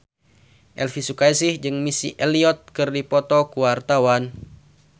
Elvy Sukaesih jeung Missy Elliott keur dipoto ku wartawan